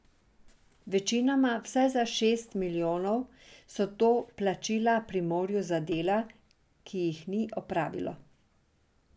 Večinoma, vsaj za šest milijonov, so to plačila Primorju za dela, ki jih ni opravilo.